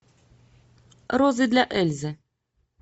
розы для эльзы